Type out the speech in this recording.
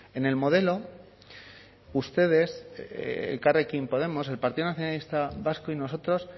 en el modelo ustedes elkarrekin podemos el partido nacionalista vasco y nosotros